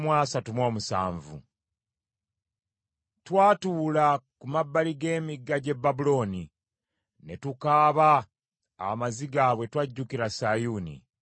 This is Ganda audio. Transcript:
Twatuula ku mabbali g’emigga gy’e Babulooni, ne tukaaba amaziga bwe twajjukira Sayuuni.